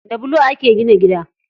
Da bulo ake gina gida.